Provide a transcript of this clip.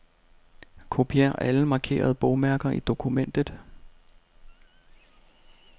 Kopier alle markerede bogmærker i dokumentet.